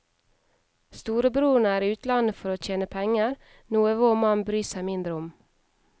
Storebroren er i utlandet for å tjene penger, noe vår mann bryr seg mindre om.